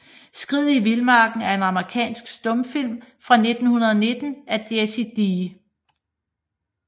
Skriget i Vildmarken er en amerikansk stumfilm fra 1919 af Jesse D